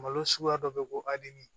Malo suguya dɔ bɛ yen ko adani